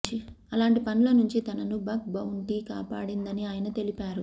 అలాంటి పనుల నుంచి తనను బగ్ బౌంటీ కాపాడిందని ఆయన తెలిపారు